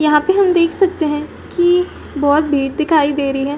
यहां हम देख सकते हैं कि बहुत दिखाई दे रही है।